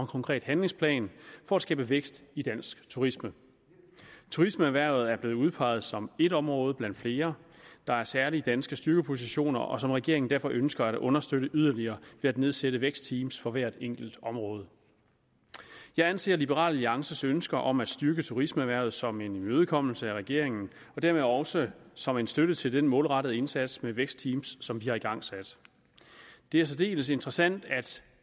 konkret handlingsplan for at skabe vækst i dansk turisme turismeerhvervet er blevet udpeget som et område blandt flere der har særlige danske styrkepositioner og som regeringen derfor ønsker at understøtte yderligere ved at nedsætte vækstteam for hvert enkelt område jeg anser liberal alliances ønske om at styrke turismeerhvervet som en imødekommelse af regeringen og dermed også som en støtte til den målrettede indsats med vækstteam som vi har igangsat det er særdeles interessant at